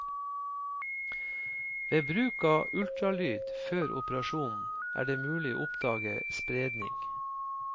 Ved bruk av ultralyd før operasjonen er det mulig å oppdage spredning.